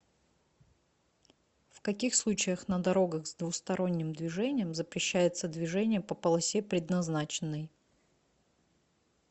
в каких случаях на дорогах с двухсторонним движением запрещается движение по полосе предназначенной